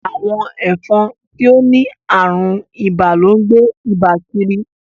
Awọn ẹfọn ti o ni arùn ìbà lón gbé Ìbà kírí.